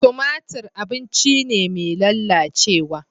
Tumatir abinci ne mai lalacewa.